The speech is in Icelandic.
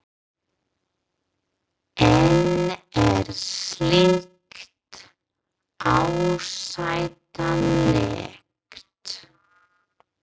En er slíkt ásættanlegt?